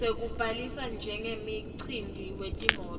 sekubhalisa njengemkhiciti wetimoti